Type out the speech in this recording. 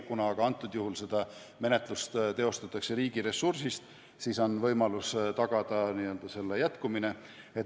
Kuna aga konkreetselt juhul menetlust teostatakse riigiressursist, siis on võimalus tagada selle jätkumine.